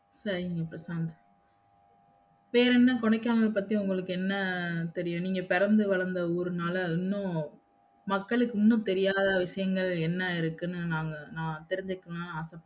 சரிங்க பிரசாந்த் வேறென்ன கொடைக்கானல் பத்தி உங்களுக்கு என்ன தெரியும் நீங்க பெறந்து வளந்த ஊருனால இன்னு மக்களுக்கு இன்னு தெரியாத விஷயங்கள் என்ன இருக்குனு நாங்க நா தெர்ஞ்சுகனும்னு ஆச படறேன்